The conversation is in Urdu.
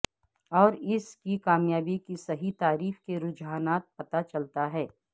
اور اس کی کامیابی کی صحیح تعریف کے رجحانات پتہ چلتا ہے